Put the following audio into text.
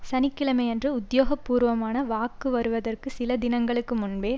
சனி கிழமையன்று உத்தியோகபூர்வமான வாக்கு வருவதற்கு சில தினங்கள் முன்பே